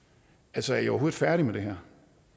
altså er i overhovedet færdig med det her